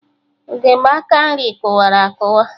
Ugegbe aka nri kụwara akụwa